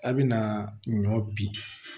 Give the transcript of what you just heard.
A bɛna ɲɔ bin